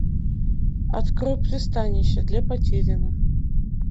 открой пристанище для потерянных